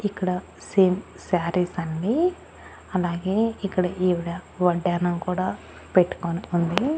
ఇక్కడ same saris అండి అలాగే ఇక్కడ ఈవిడ వడ్డాణం కూడా పెట్టుకొని ఉంది.